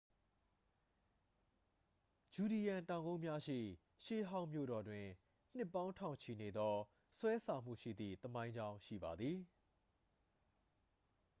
ဂျူဒီရန် တောင်ကုန်းများရှိ ရှေးဟောင်းမြို့တော်တွင် နှစ်ပေါင်းထောင်ချီနေသော ဆွဲဆောင်မှုရှိသည့်သမိုင်းကြောင်းရှိပါသည်